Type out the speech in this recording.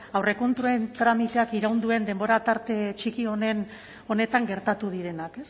aurrekontuen tramiteak iraun duen denbora tarte txiki honetan gertatu direnak